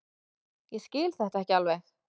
Ég skil þetta ekki alveg.